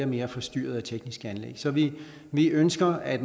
mere forstyrret af tekniske anlæg så vi vi ønsker at